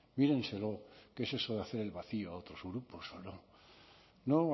mírenselo qué es eso de hacer el vacío a otros grupos o no no